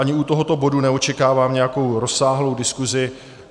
Ani u tohoto bodu neočekávám nějakou rozsáhlou diskuzi.